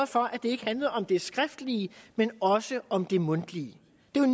for at det ikke handlede om det skriftlige men også om det mundtlige